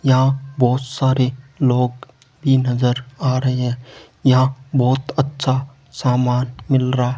यहां बहोत सारे लोग भी नजर आ रहे है यहां बहुत अच्छा सामान मिल रहा --